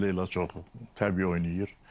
Onu da Leyla çox təbii oynayır.